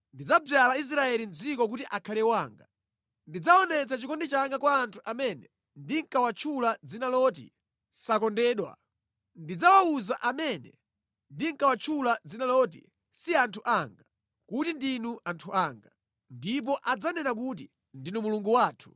Ndidzadzala Israeli mʼdziko kuti akhale wanga: ndidzaonetsa chikondi changa kwa anthu amene ndinkawatchula dzina loti, ‘Sakondedwa.’ Ndidzawawuza amene ndinkawatchula dzina loti, ‘Si anthu anga,’ kuti, ‘Ndinu anthu wanga;’ ndipo adzanena kuti, ‘ndinu Mulungu wathu,’ ”